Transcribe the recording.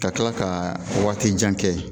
Ka tila ka waati jan kɛ